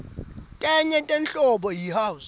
tenye inhlobo yi house